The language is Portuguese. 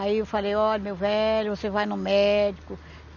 Aí eu falei, olha, meu velho, você vai no médico.